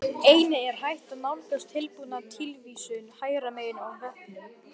Einnig er hægt að nálgast tilbúna tilvísun hægra megin á vefnum.